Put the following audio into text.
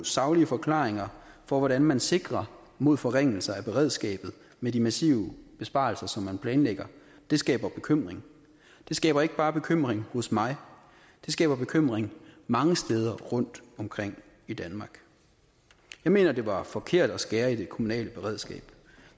saglige forklaringer på hvordan man sikrer mod forringelser af beredskabet med de massive besparelser som man planlægger skaber bekymring det skaber ikke bare bekymring hos mig det skaber bekymring mange steder rundt omkring i danmark jeg mener det var forkert at skære i det kommunale beredskab